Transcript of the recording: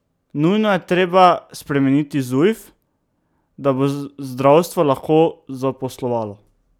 Nujno je treba spremeniti Zujf, da bo zdravstvo lahko zaposlovalo.